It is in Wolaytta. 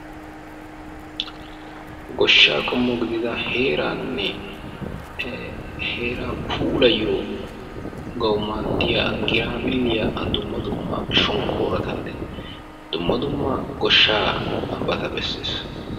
Goshshaa qommo gidida heeranne ee heeraa puulayiyogawu maaddiya graabilliya dumma dumma shonkkorattanne dumma dumma goshshaabata bessees.